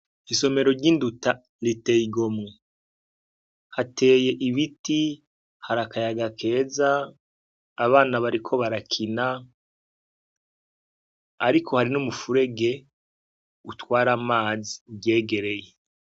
Isomero ry'induta ritey'igomwe, hateye ibiti ,har'akayaga keza, abana bariko barakina, arikohari n'umufurege utwara amazi uryegereye.